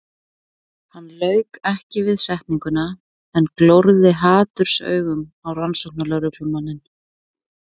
Hann lauk ekki við setninguna en glórði hatursaugum á rannsóknarlögreglumanninn.